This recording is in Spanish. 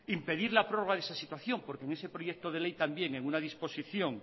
impedir la prórroga de esta situación porque en ese proyecto de ley también en una disposición